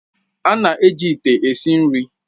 A na-eji ite esi nri